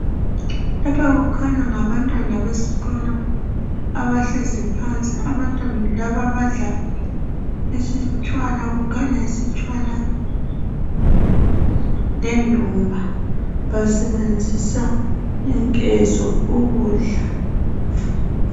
Lapha kukhanya ngabantwana besikolo abahlezi phansi .Abantwana laba badla isitshwala kukhanya yisitshwala lendumba. Basebenzisa inkezo ukudla.